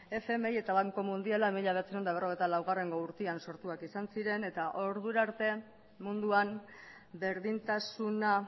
fmi eta banku mundiala mila bederatziehun eta berrogeita laugarrena urtean sortuak izan ziren eta ordurarte munduan berdintasuna